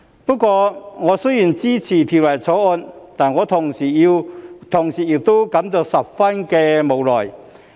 不過，我雖然支持《條例草案》，但同時亦感到十分無奈。